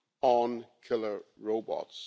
on killer robots.